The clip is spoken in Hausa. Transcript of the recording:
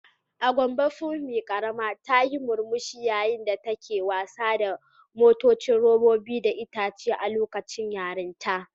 A Gombe Funmi karama ta yi murmushi yayin da take wasa da motocin robobi da itace a lokacin yarintarta.